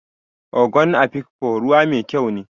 Ogon Afikpo ruhu mai kyau ne.